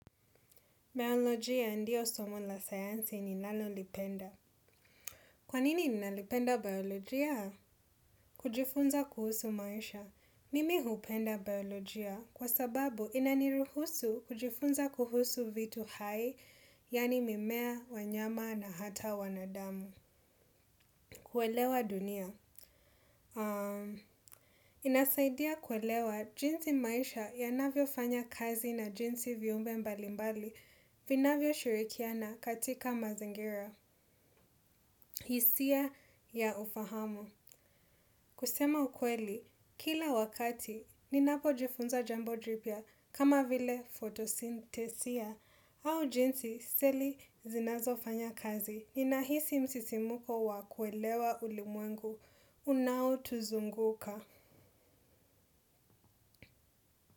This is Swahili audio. Biolojia ndio somo la sayansi ni nalolipenda. Kwanini nalipenda biolojia? Kujifunza kuhusu maisha. Mimi hupenda biolojia kwa sababu inaniruhusu kujifunza kuhusu vitu hai, yaani mimea, wanyama na hata wanadamu. Kuelewa dunia. Inasaidia kuelewa jinsi maisha ya navyo fanya kazi na jinsi viumbe mbali mbali vinavyo shirikiana katika mazingira, hisia ya ufahamu. Kusema ukweli, kila wakati, ninapo jifunza jambo jipya kama vile fotosintesia au jinsi seli zinazo fanya kazi. Ninahisi msisimuko wa kuelewa ulimwengu, unao tuzunguka.